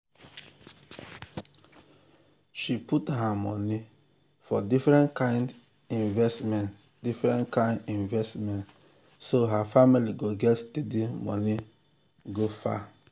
she put her money for different kind investment different kind investment so her family go get steady money go far